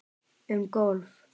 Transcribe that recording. Um golf